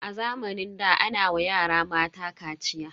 A zamanin da ana wa yara mata kaciya.